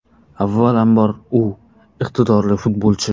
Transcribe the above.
Avvalambor, u iqtidorli futbolchi.